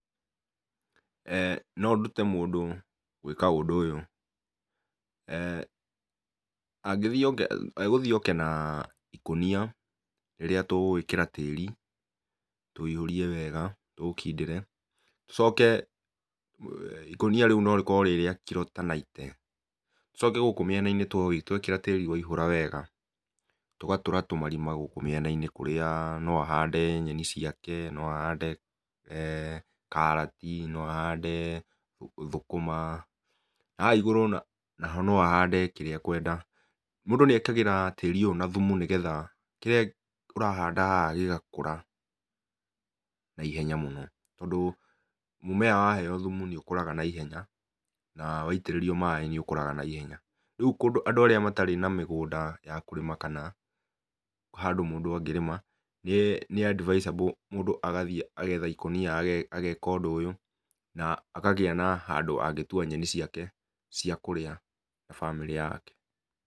Nondute mũndũ gwĩka ũndũ ũyũ, angĩthiĩ oke, egũthiĩ oke na ikũnia rĩrĩa tũgũĩkĩra tĩri, tũiyũrie wega, tũũkindĩre, tũcoke ikũnia rĩu norĩkorwo rĩ rĩa kilo ta naite, tũcoke gũkũ mĩena-inĩ twekĩra tĩri waihũra wega, tũgatũra tũmarima gũkũ mĩena-inĩ kũrĩa no ahande nyeni ciake, no ahande karati, no ahande thũkũma. Haha igũrũ naho no ahande kĩrĩa ekwenda. Mũndũ nĩekagĩra tĩri ũyũ na thumu nĩgetha, kĩrĩa ũrahanda haha gĩgakũra naihenya mũno. Tondũ mũmera waheyo thumu nĩũkũraga naihenya, na waitĩrĩrio maĩ nĩũkũraga naihenya. Rĩu kũndũ andũ arĩa matarĩ na mĩgũnda ya kũrĩma kana handũ mũndũ angĩrĩma, nĩ advisable mũndũ agathiĩ agetha ikũnia ageka ũndũ ũyũ, na akagĩa na handũ angĩtua nyeni ciake ciakũrĩa na famĩrĩ yake.